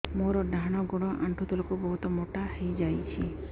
ମୋର ଡାହାଣ ଗୋଡ଼ ଆଣ୍ଠୁ ତଳକୁ ବହୁତ ମୋଟା ହେଇଯାଉଛି